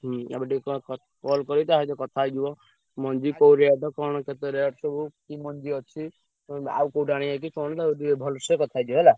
ହୁଁ ଏବେ ଟିକେ call କରି ତା ସହ କଥା ହେଇଯିବ। ମଞ୍ଜି କୋଉ rate କଣ କେତେ rate ସବୁ କି ମଞ୍ଜି ଅଛି। ଉଁ ଆଉ କୋଉଠୁ ଆଣିଆ କି କଣ ତାକୁ ଟିକେ ଭଲସେ କଥା ହେଇଯିବା ହେଲା।